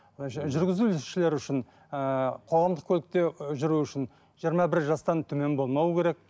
жүргізушілер үшін ыыы қоғамдық көлікте жүру үшін жиырма бір жастан төмен болмауы керек